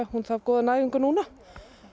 hún þarf góða næringu núna